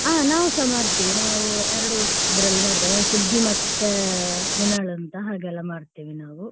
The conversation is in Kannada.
ಹಾ ನಾವ್ಸ ಮಾಡ್ತೀವಿ ನಾವು ಎರಡು ಇದರಲ್ಲಿ ಮಾಡ್ತೀವಿ ಸುಗ್ಗಿ ಮತ್ತೆ ಎನ್ನಾಳ್ ಅಂತ ಹಾಗೆಲ್ಲ ಮಾಡ್ತೀವಿ ನಾವು